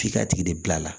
F'i ka tigi de bila la